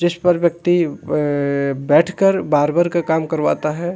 जिस पर व्यक्ति अ बैठकर बारबर का काम करवाता है।